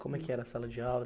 Como é que era a sala de aula?